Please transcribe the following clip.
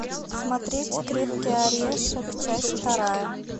смотреть крепкий орешек часть вторая